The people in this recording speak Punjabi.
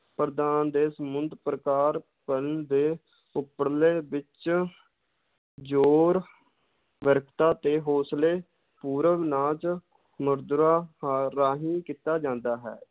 ਪ੍ਰਦਾਨ ਦੇ ਸਮੁੰਦ ਪ੍ਰਕਾਰ ਦੇ ਉੱਪਰਲੇ ਵਿੱਚ ਜ਼ੋਰ ਤੇ ਹੌਸਲੇ ਪੂਰਵ ਨਾਚ ਮੁਦਰਾ ਹ~ ਰਾਹੀਂ ਕੀਤਾ ਜਾਂਦਾ ਹੈ।